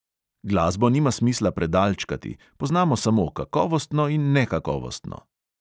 Glasbo nima smisla predalčkati, poznamo samo kakovostno in nekakovostno.